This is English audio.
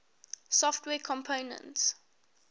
software components